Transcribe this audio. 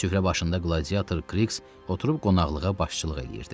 Süfrə başında qladiator Kiks oturub qonaqlığa başçılıq eləyirdi.